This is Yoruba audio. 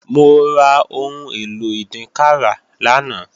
Mo ra ohun èlò ìdínkàrà lánàá